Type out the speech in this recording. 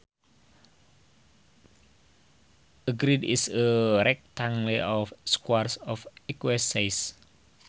A grid is a rectangle of squares of equal size